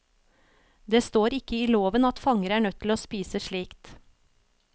Det står ikke i loven at fanger er nødt til å spise slikt.